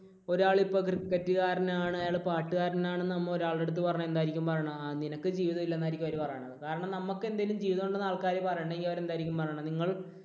ഒരാൾ ഇപ്പോൾ cricket കാരനാണ് അയാൾ പാട്ടുകാരനാണ് എന്ന് നമ്മൾ ഒരാളുടെ അടുത്ത് പറഞ്ഞാൽ എന്തായിരിക്കും അവര് പറയുന്നത്? ആഹ് നിനക്ക് ജീവിതം ഇല്ല എന്നായിരിക്കും അവർ പറയുന്നത്. കാരണം നമുക്ക് എന്തെങ്കിലും ജീവിതമുണ്ടെന്ന് ആൾക്കാര് പറയണമെങ്കിൽ അവർ എന്തായിരിക്കും പറയുന്നത്? നിങ്ങൾ